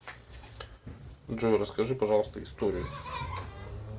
джой расскажи пожалуйста историю